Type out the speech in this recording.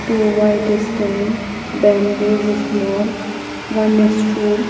two white stand bamboos is small one stool --